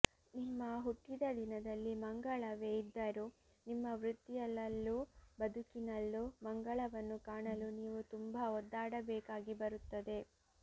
ನಿಮ್ಮ ಹುಟ್ಟಿದ ದಿನದಲ್ಲಿ ಮಂಗಳವೇ ಇದ್ದರೂ ನಿಮ್ಮ ವೃತ್ತಿಯಲಲ್ಲೂ ಬದುಕಿನಲ್ಲೂ ಮಂಗಳವನ್ನು ಕಾಣಲು ನೀವು ತುಂಬಾ ಒದ್ದಾಡಬೇಕಾಗಿ ಬರುತ್ತದೆ